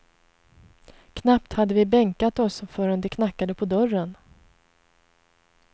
Knappt hade vi bänkat oss förrän det knackade på dörren.